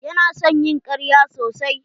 Ya na son ƴin ƙarya sosai.